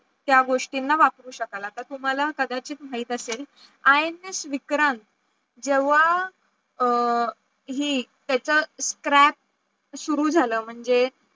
त्या गोष्टींना वापरू शकाल आता तुम्हाला कदाचित माहित असेल INS विक्रांत जेव्हा अं हि त्याचं scrap सुरु झालं म्हणजे